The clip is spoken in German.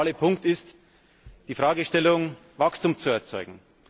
Der zentrale Punkt ist die Fragestellung, Wachstum zu erzeugen.